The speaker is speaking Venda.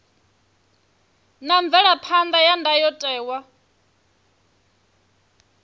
na mvelaphan ḓa ya ndayotewa